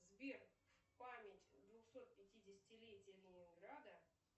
сбер память двухсот пятидесятилетия ленинграда